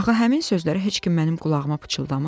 Axı həmin sözləri heç kim mənim qulağıma pıçıldamır.